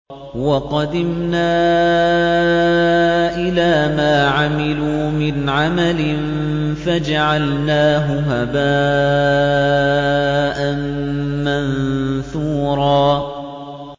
وَقَدِمْنَا إِلَىٰ مَا عَمِلُوا مِنْ عَمَلٍ فَجَعَلْنَاهُ هَبَاءً مَّنثُورًا